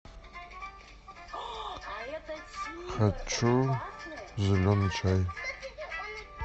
хочу зеленый чай